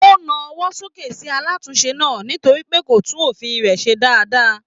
O na ọwọ sókè sí alatunse náà nítorí pé kó tún ọ̀fiísí rẹ ṣe dáadáa.